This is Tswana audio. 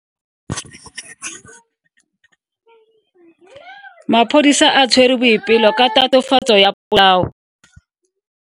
Maphodisa a tshwere Boipelo ka tatofatso ya polao.